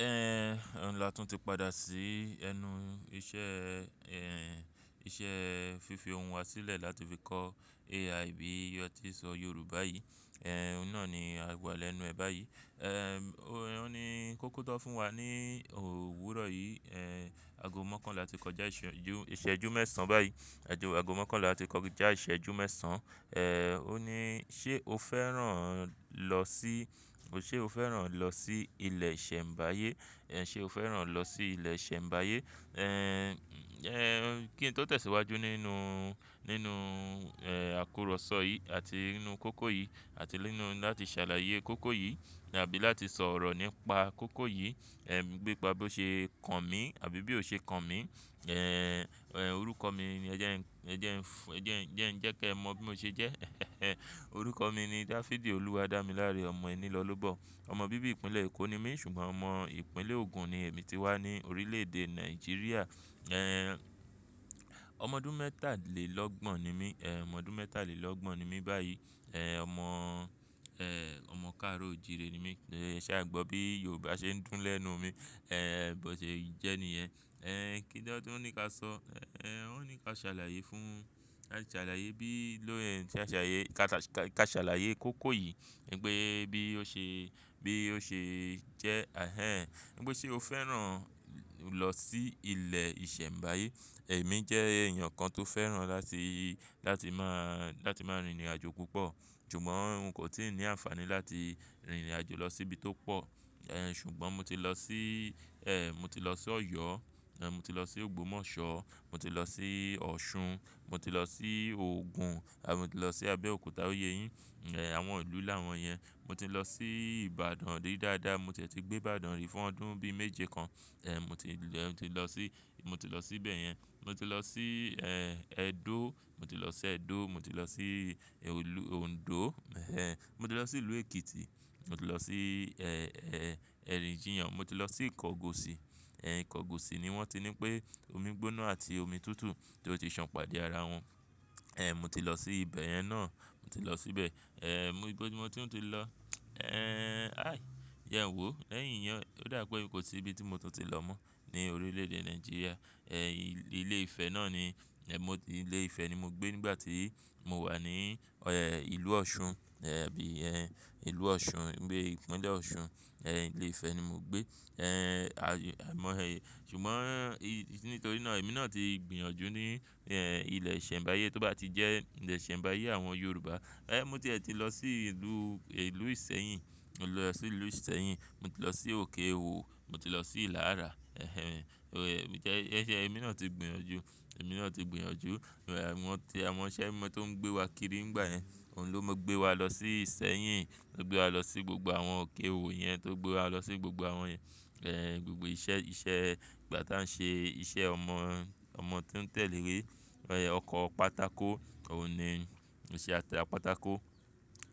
Ehn, Òun làtún ti padà sí ẹnu iṣẹ́ ẹ, ẹ, iṣẹ́ fífi ohun wa sílẹ̀ láti fi kọ́ AI bí iyọ̀ ti so Yorùbá yìí. Ehn, òun náà ni a gbà lẹ́nu ẹ báyìí. Ehn, o-óun ni kó kọ́kọ́ tó fún wa ní òwúrọ̀ yìí. Ehn, ago mọ́kànlá ti kọjá ìṣẹ́jú, ìṣẹ́jú mẹ́sàn báyìí. Ẹ̀jo ago mọ́kànlá ti kọjá ìṣẹ́jú mẹ́sàn. Ehn, ó ní, "Ṣé o fẹ́ràn lọ sí, ṣe o fẹ́ràn lọ sí ilẹ̀ ìṣẹ̀mbáyé? Ehn, ṣe o fẹ́ràn lọ sí ilẹ̀ ìṣẹ̀mbáyé?" Ehn, ẹ, kí n tó tẹ̀síwájú nínú, nínú, ẹ, àkọ́rọ́ṣọ́ yìí àti nínú kókó yìí àti nínú láti ṣàlàyé kókó yìí tàbí láti sọ̀rọ̀ nípa kókó yìí, ẹ, bí pa bí ó ṣe kan mí àbí bí ó ṣe kan mí. Ehn, ẹ, orúkọ mi ni ẹ jẹ́ ẹ ń, ẹ jẹ́ ẹ ń, ẹ jẹ́ ẹ ń jẹ́kẹ́ ẹ mọ bí mo ṣe jẹ́. Orúkọ mi ni Dáfídì Olúwadámiláre Ọmọ ẹní lọ́ lóbọ̀. Ọmọ bíbí ìpínlẹ̀ Èkó ni mí ṣùgbọ́n ọmọ ìpínlẹ̀ Ogun ni èmi ti wá ní orílẹ̀-èdè Nàìjíríà. Ehn, ọmọ ọdún mẹ́tàlélọ́gbọ̀n ni mí. Ehn, ọmọ ọdún mẹ́tàlélọ́gbọ̀n ni mí báyìí. Ehn, ọmọ, ẹ, ọmọ káàro òjìrì ni mí. Ṣé a gbọ́ bí Yorùbá ṣe ń dùn lẹ́nu mi? Ehn, bó ṣe jẹ́ nìyẹn. Ehn, kí ló tun ní ká sọ? Ehn, ó ní ká ṣàlàyé fún, ká ṣàlàyé bí ló ì, ká ṣàlàyé, ká ṣàlàyé kókó yìí wípé bí ó ṣe, bí ó ṣe jẹ́. Ehen, wípé ṣe o fẹ́ràn lọ sí ilẹ̀ ìṣẹ̀mbáyé. Ẹ̀mí jẹ́ èèyàn kan tó fẹ́ràn láti, láti máa, láti máa rìnrìnàjò púpọ̀. Ṣùgbọ́n òun kò tíì ní àǹfààní láti rìnrìnàjò lọ sí ibi tó pọ̀. Ehn, ṣùgbọ́n mo ti lọ sí, ẹ, mo ti lọ sí Ọ̀yọ́, ẹ, mo ti lọ sí Ògbómọ̀ṣọ́, mo ti lọ sí Ọ̀ṣun, mo ti lọ sí Ogun àti mo ti lọ sí Abẹ́òkúta, ó yé yín. Ehn, àwọn ìlú làwọn yẹn. Mo ti lọ sí Ìbàdàn ri dáadáa, mo tiẹ̀ti gbé Ìbàdàn rí fún ọdún bí méje kan. Ehn, mo ti lọ, mo ti lọ sí, mo ti lọ síbẹ̀ yẹn. Mo ti lọ sí, ẹ, Edo. Mo ti lọ sí Edo, mo ti lọ sí ìlú Ondo. Ehn, mo ti lọ sí ìlú Èkìtì. Mo ti lọ sí, ẹ, ẹ, Ẹrin-Ìjìyàn. Mo ti lọ sí Ìkọgòsì. Ehn, Ìkọgòsì ni wọ́n ti ní pé omi gbóná àti omi tútù tí ó ti san pàdé ara wọn. Ehn, mo ti lọ sí ibẹ̀ yẹn náà. Mo ti lọ síbẹ̀. Ehn, mo iboni, mo tuń ti lọ. Ehn, aí, yẹn wòó. Leyìn yẹn, ó dà pé kò sí ibi tí mo tún ti lọ mọ́ ní orílẹ̀-èdè Nàìjíríà. Ehn, ilé Ifẹ̀ náà ni, ẹ, mo ti, ilé Ifẹ̀ ni mo gbé nígbà tí mo wà ní, ẹ, ìlú Ọ̀ṣun. Ehn, bí, ẹ, ìlú Ọ̀ṣun, nígbe ìpínlẹ̀ Ọ̀ṣun. Ehn, ilé Ifẹ̀ ni mo gbé. Ehn, à, ẹ mọ ẹ. Ṣùgbọ́n, nítorí náà èmi náà ti gbìyànjú ní, ẹ, ilẹ̀ ìṣẹ̀mbáyé tó bá ti jẹ́ ilẹ̀ ìṣẹ̀mbáyé àwọn Yorùbá. Ehn, mo tiẹ̀ ti lọ sí ìlú, ìlú Ìṣẹ́yìn. Mo ti lọ sí ìlú Ìṣẹ́yìn, mo ti lọ sí òkè-òwò, mo ti lọ sí Ilara. Ehen, óò, ẹ, jẹ́ ẹ ṣe èmi náà ti gbìnyànjú, èmi náà ti gbìnyànjú. Awọ̀n ti, àwọn iṣẹ́ ẹ́ mọ́ tó ń gbé wa kiri nígbà yẹn. Òun ló mo gbé wa lọ sí Ìṣẹ́yìn, ó gbé wa lọ sí gbogbo àwọn òkè-òwò yẹn, tó gbé wa lọ sí gbogbo àwọn yẹn. Ehn, gbogbo iṣẹ́, iṣẹ́ nígbà táa ń ṣe iṣẹ́ ọmọ, ọmọ tí ó ń tẹ̀lé rí. Ehn, ọkọ̀ pátákò, òun ni, iṣẹ́ atẹ àpátákò.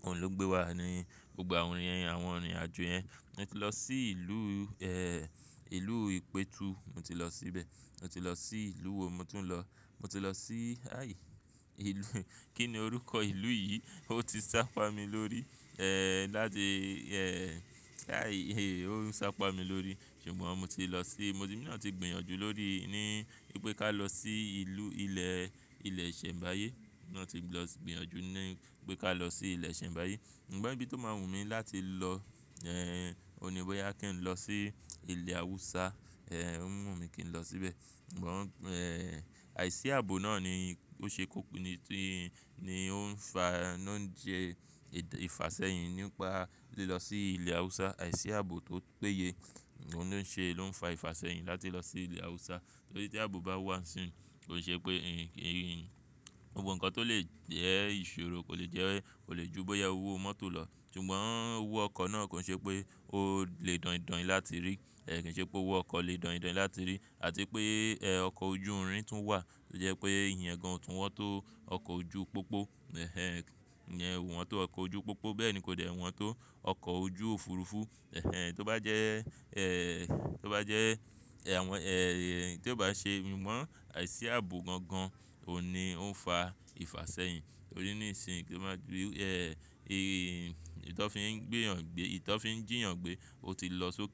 Òun ló gbé wa ní gbogbo àwọn rin, àwọn irìnrìnàjò yẹn. Mo ti lọ sí ìlú, ẹ, ìlú ìpètu. Mo ti lọ síbẹ̀. Mo ti lọ sí ìlú wo mo tún lọ. Mo ti lọ sí, aí, ìlú, kí ni orúkọ ìlú yìí? Ó ti sápá mi lórí. Ehn, láti, ẹ, aí, ó sápá mi lórí. Ṣùgbọ́n mo ti lọ sí, mo ti, èmi náà ti gbìyànjú lórí, ní pé ká lọ sí ìlú ilẹ̀, ilẹ̀ ìṣẹ̀mbáyé. Ẹ̀mí náà ti lọ gbìyànjú ní pé ká lọ sí ilẹ̀ ìṣẹ̀mbáyé. Ṣùgbọ́n ibi tó máa wù mí láti lọ, ẹ, òun ni boyá kí n lọ sí ilẹ̀ Awúsá. Ehn, ó wùn mí kí n lọ síbẹ̀. Ṣùgbọ́n, ẹ, àìsí ààbò náà ni ó ṣe kúkú, ni tí, ni ó ń fa, ló ń jẹ ìfàsẹ́yìn nípa tí lọ sí ilẹ̀ Awúsá. Àìsí ààbò tó péye ló ń ṣe, ló ń fa ìfàsẹ́yìn láti lọ sí ilẹ̀ Awúsá. Torí tí ààbò bá wà n sín, kòi ṣe pé gbogbo nǹkan tó lè jẹ́ ìṣòro kò lè jẹ́, kò lè ju bọ́yá ó wọ mọ́tò lọ. Ṣùgbọ́n ó wọ ọkọ̀ náà kò ṣe pé ó lè dọ̀ìn dọ̀ìn láti rí. Ehn, kò ṣe pé ó wọ ọkọ̀ lè dọ̀ìn dọ̀ìn láti rí àti pé, ẹ, ọkọ̀ ojú irin tún wà tó jẹ́ pé èèyàn gan-an tún wọ́n tó ọkọ̀ ojú pópó. Ehn, iyen o wọ́n tó ọkọ̀ ojú pópó bẹ́ẹ̀ ni kò dè wọ́n tó ọkọ̀ ojú òfurufú. Ehn, tó bá jẹ́, ẹ, tó bá jẹ́, ẹ, àwọn, ẹ, tió bá ṣe àìsí ààbò gangan ò ní ouń fa ìfàsẹ́yìn. Torí níisin kì í máa gbé, ẹ, ìntọ́n fí ń gbéyàn gbé, ìntọ́n fí ń jíyàn gbé ó ti lọ sókè.